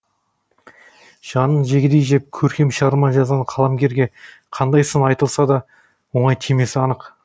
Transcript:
жанын жегідей жеп көркем шығарма жазған қаламгерге қандай сын айтылса да оңай тимесі анық